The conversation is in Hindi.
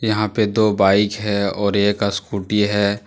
यहां पे दो बाइक है और एक स्कूटी है।